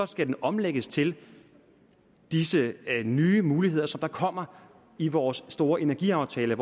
skal omlægges til disse nye muligheder som der kommer i vores store energiaftale